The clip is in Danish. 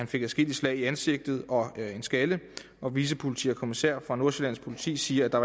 fik adskillige slag i ansigtet og en skalle vicepolitikommissær finn fra nordsjællands politi siger at der